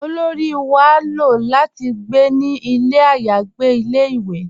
Olóri wà ló láti gbé ní ilẹ̀ ayàgbè ilẹ̀-ìwé